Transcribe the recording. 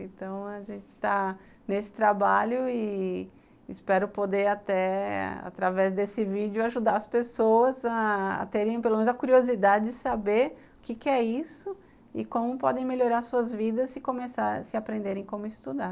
Então, a gente está nesse trabalho e espero poder até, através desse vídeo, ajudar as pessoas a terem, pelo menos, a curiosidade de saber o que que é isso e como podem melhorar suas vidas se começarem, se aprenderem como estudar.